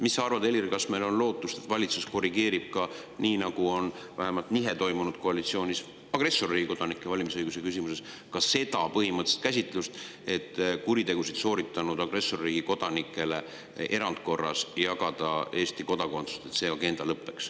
Mis sa arvad, Helir, kas meil on lootust, et valitsus korrigeerib – nii, nagu on vähemalt koalitsioonis toimunud nihe agressorriigi kodanike valimisõiguse küsimuses – seda põhimõttelist käsitlust nii, et lõppeb agenda, mille järgi kuritegusid sooritanud agressorriigi kodanikele jagatakse Eesti kodakondsust erandkorras?